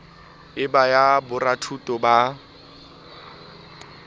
e ba ya borathuto ba